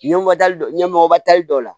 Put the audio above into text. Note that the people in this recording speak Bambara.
Ɲɛkɔtali ɲɛmɔgɔba tali dɔw la